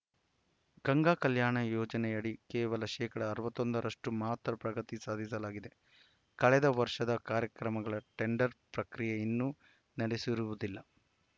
ಗಂಗಾ ಕಲ್ಯಾಣ ಯೋಜನೆಯಡಿ ಕೇವಲ ಶೇಕಡಾ ಅರವತ್ತೊಂದರಷ್ಟುಮಾತ್ರ ಪ್ರಗತಿ ಸಾಧಿಸಲಾಗಿದೆ ಕಳೆದ ವರ್ಷದ ಕಾರ್ಯಕ್ರಮಗಳ ಟೆಂಡರ್‌ ಪ್ರಕ್ರಿಯೆ ಇನ್ನೂ ನಡೆಸಿರುವುದಿಲ್ಲ